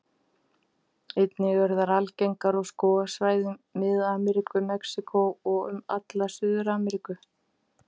Einnig eru þær algengar á skógarsvæðum Mið-Ameríku, Mexíkó og um alla Suður-Ameríku.